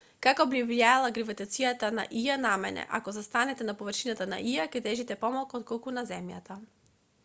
како би влијаела гравитацијата на ија на мене ако застанете на површината на ија ќе тежите помалку отколку на земјата